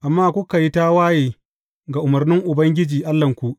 Amma kuka yi tawaye ga umarnin Ubangiji Allahnku.